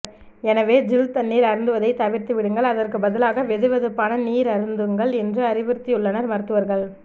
எனவே ஜில் தண்ணீர் அருந்துவதை தவிர்த்துவிடுங்கள் அதற்கு பதிலாக வெதுவெதுப்பான நீர் அருந்துங்கள் என்று அறிவுறுத்தியுள்ளனர் மருத்துவர்கள்